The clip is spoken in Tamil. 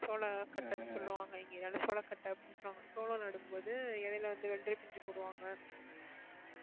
சோள கட்டன்னு சொல்லுவாங்க இங்க சோளக்கட்டை அப்படின்னு சொல்லுவாங்க சோளம் நடும்போது இடையில வந்து வெள்ளரிப்பிஞ்சு போடுவாங்க